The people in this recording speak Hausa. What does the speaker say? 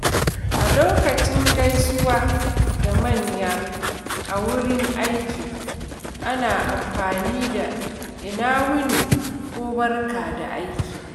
Lokacin gaisuwa da manya a wurin aiki, ana amfani da “Ina wuni?” ko “Barka da aiki.”